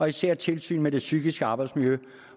især tilsyn med det psykiske arbejdsmiljø